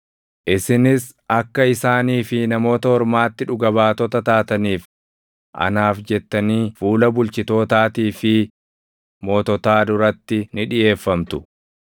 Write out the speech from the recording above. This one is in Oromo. Isinis akka isaanii fi Namoota Ormaatti dhuga baatota taataniif anaaf jettanii fuula bulchitootaatii fi moototaa duratti ni dhiʼeeffamtu.